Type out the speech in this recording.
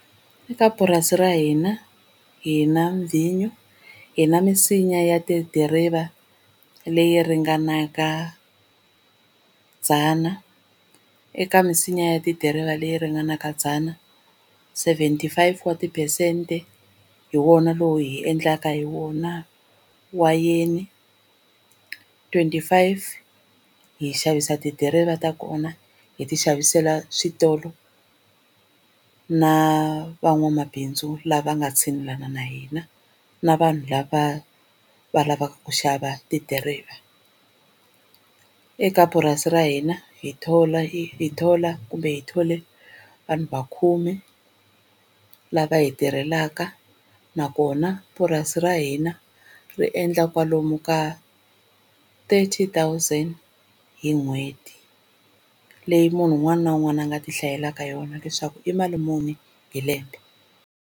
Eka purasi ra hina hi na vhinyo, hi na misinya ya tidiriva leyi ringanaka dzana. Eka misinya ya tidiriva leyi ringanaka dzana seventy five wa tiphesente hi wona lowu hi endlaka hi wona wayeni, twenty five hi xavisa tidiriva ta kona hi ti xavisela switolo na van'wamabindzu lava nga tshinelelani na hina na vanhu lava va lavaka ku xava tidiriva. Eka purasi ra hina hi thola hi thola kumbe hi thole vanhu va khume lava hi tirhelaka, nakona purasi ra hina ri endla kwalomu ka thirty thousand hi n'hweti leyi munhu un'wana na un'wana a nga tihlayelaka yona leswaku i mali muni hi lembe.